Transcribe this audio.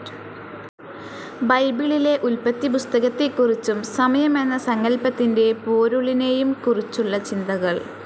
ബൈബിളിലെ ഉൽപ്പത്തിപുസ്തകത്തെക്കുറിച്ചും സമയം എന്ന സങ്കൽപ്പത്തിൻ്റെ പോരുളിനെയും കുറിച്ചുള്ള ചിന്തകൾ.